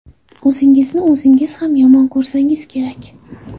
O‘zingizni o‘zingiz ham yomon ko‘rsangiz kerak.